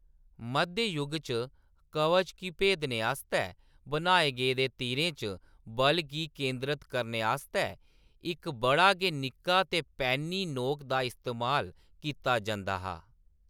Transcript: मध्य जुग च कवच गी भेदने आस्तै बनाए गेदे तीरें च बल गी केंदरत करने आस्तै इक बड़ा गै निक्का ते पैन्नी नोक दा इस्तेमाल कीता जंदा हा।